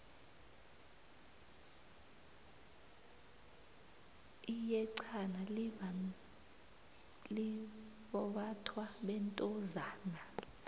iyexhana libnbathwa bentozana